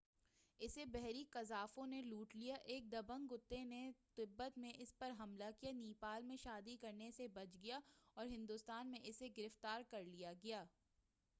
اسے بحری قزاقوں نے لوٹ لیا ایک دبنگ کتے نے تبت میں اس پر حملہ کیا نیپال میں شادی کرنے سے بچ گیا اور ہندوستان میں اسے گرفتار کرلیا گیا